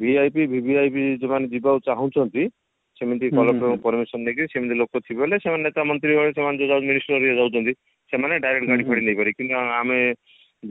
VIP VVIP ଯେଉଁମାନେ ଯିବାକୁ ଚାହୁଞ୍ଚନ୍ତି ସେମିତି collector ଙ୍କ permission ନେଇକି ସେମିତିତ ଲୋକ ଥିବେ ହେଲେ ସେ ନେତା ମନ୍ତ୍ରୀ ମାନେ ସେମାନେ ଯୋଉ ଯାଉଛନ୍ତି ଯାଉଛନ୍ତି ସେମାନର direct ଗାଡି ଫାଡି ନେଇକରି କିନ୍ତୁ ଆମେ